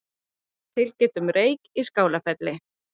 Tilkynnt um reyk á Skálafelli